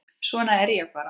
Svona er ég bara.